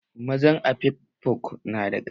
Mazan afikfo na da ƙarfi